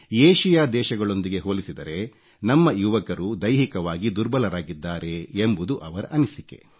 Asia ದೇಶಗಳೊಂದಿಗೆ ಹೋಲಿಸಿದರೆ ನಮ್ಮ ಯುವಕರು ದೈಹಿಕವಾಗಿ ದುರ್ಬಲರಾಗಿದ್ದಾರೆ ಎಂಬುದು ಅವರ ಅನಿಸಿಕೆ